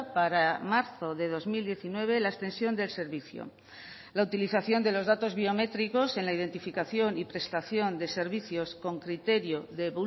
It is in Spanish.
para marzo de dos mil diecinueve la extensión del servicio la utilización de los datos biométricos en la identificación y prestación de servicios con criterio de